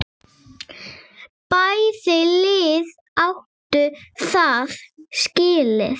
Bæði lið áttu það skilið.